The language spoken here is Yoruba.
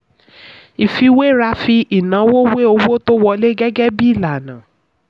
ìfiwéra fi ìnáwó wé owó tó wọlé gẹ́gẹ́ bí ìlànà.